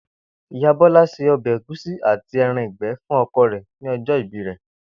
Ìyá Bó̩lá se o̩bè̩ ègúsí àti e̩ran ìgbé̩ fún o̩ko̩ rè̩ ní o̩jó̩ ìbí rè̩